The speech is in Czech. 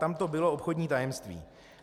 Tam to bylo obchodní tajemství.